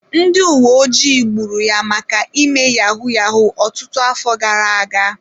Ndị uweojii gburu ya maka ime yahoo yahoo ọtụtụ afọ gara aga.